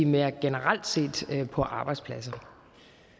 mere generelt set på arbejdspladser